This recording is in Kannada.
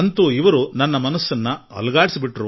ಆದರೆ ಅವರು ನನ್ನ ಮನಸ್ಸನ್ನು ಅಲ್ಲಾಡಿಸಿಬಿಟ್ಟರು